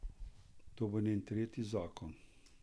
To bo njen tretji zakon.